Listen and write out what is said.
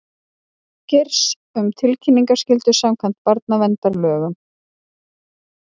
Geirs um tilkynningaskyldu samkvæmt barnaverndarlögum